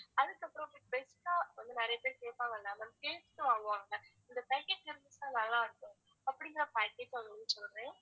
அதுக்கப்பறம் best ஆ வந்து நிறைய பேர் கேப்பாங்கல ma'am கேட்டு வாங்குவாங்க இந்த package இருந்துச்சுன்னா நல்லாருக்கும் அப்படிங்கற package தான் ma'am சொல்றேன்